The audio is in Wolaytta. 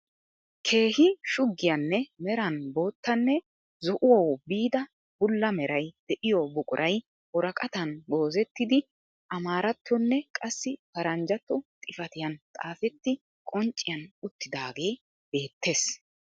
Keehi shuggiyaanne meran boottanne zo"uwaawu biida bulla meray de'iyoo buquray woraqaatan goozzettidi amaaarattonne qassi paraanjjatto xifatiyaan xaafetti qoncciyaan uttidaagee beettees.